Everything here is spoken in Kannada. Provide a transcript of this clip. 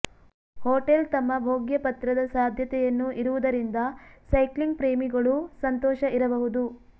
ಹೋಟೆಲ್ ತಮ್ಮ ಭೋಗ್ಯಪತ್ರದ ಸಾಧ್ಯತೆಯನ್ನು ಇರುವುದರಿಂದ ಸೈಕ್ಲಿಂಗ್ ಪ್ರೇಮಿಗಳು ಸಂತೋಷ ಇರಬಹುದು